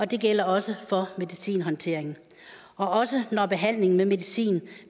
det gælder også for medicinhåndteringen også når behandlingen med medicin